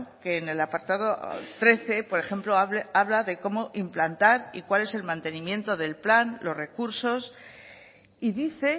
que en el apartado trece por ejemplo habla de cómo implantar y cuál es el mantenimiento del plan los recursos y dice